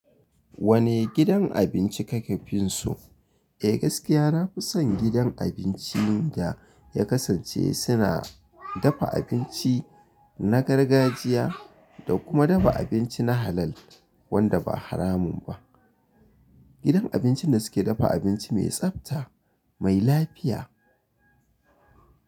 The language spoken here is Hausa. Wane gidan abinci kake finso? Eh gaskiya na fi son gidan abincin da ya kasance suna dafa abinci na gargajiya da kuma dafa abinci na halal wanda ba haramu ba. Idan abincin da suke dafa abinci mai tsabta, mai lafiya.